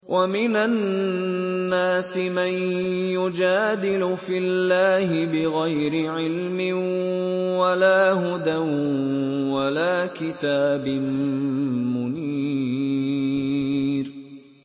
وَمِنَ النَّاسِ مَن يُجَادِلُ فِي اللَّهِ بِغَيْرِ عِلْمٍ وَلَا هُدًى وَلَا كِتَابٍ مُّنِيرٍ